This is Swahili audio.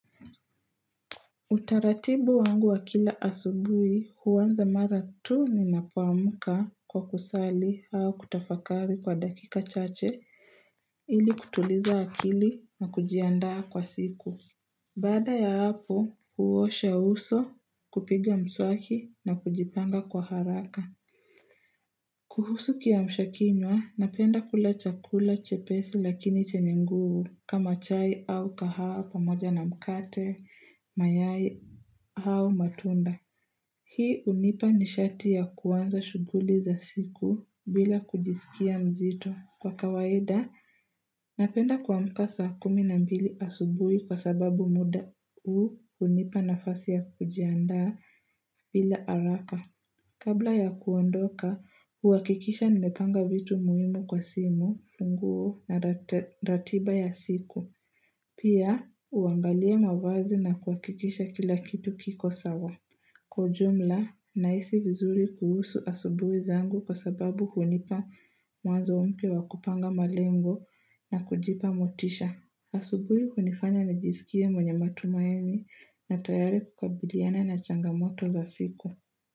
Utaratibu wangu wa kila asubuhi huanza mara tu ninapoamka kwa kusali au kutafakari kwa dakika chache ili kutuliza akili na kujiandaa kwa siku. Baada ya hapo huosha uso kupiga mswaki na kujipanga kwa haraka. Kuhusu kiamsha kinywa, napenda kula chakula chepesi lakini chenye nguvu kama chai au kahawa pamoja na mkate, mayai au matunda. Hii hunipa nishati ya kuanza shughuli za siku bila kujisikia mzito. Kwa kawaida, napenda kumka saa kumi na mbili asubuhi kwa sababu muda huu hunipa nafasi ya kujiandaa bila haraka. Kabla ya kuondoka, huhakikisha nimepanga vitu muhimu kwa simu, funguo na ratiba ya siku. Pia, huangalia mavazi na kuhakikisha kila kitu kiko sawa. Kwa ujumla, nahisi vizuri kuhusu asubuhi zangu kwa sababu hunipa mawazo mpya wa kupanga malengo na kujipa motisha. Asubuhi hunifanya nijisikie mwenye matumaini na tayari kukabiliana na changamoto za siku.